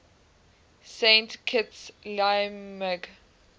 saint kitts liamuiga